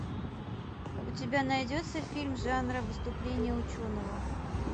у тебя найдется фильм жанра выступление ученого